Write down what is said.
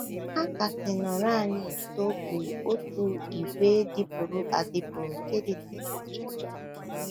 Ha kasị nọrọ anyị nso bụ otu ìgwè dịpụrụ adịpụ nke dị na Jinja.